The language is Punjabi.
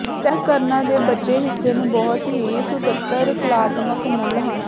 ਤਹਿ ਕਰਣਾ ਦੇ ਬਚੇ ਹਿੱਸੇ ਨੂੰ ਬਹੁਤ ਹੀ ਸੁਤੰਤਰ ਕਲਾਤਮਕ ਮੁੱਲ ਹਨ